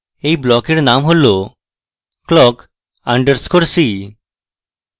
এই ব্লকের name হল clock underscore c